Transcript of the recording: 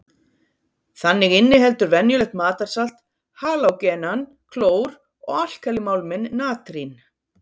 Þannig inniheldur venjulegt matarsalt halógenann klór og alkalímálminn natrín.